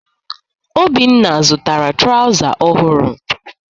Obinna zụtara trawza ọhụrụ.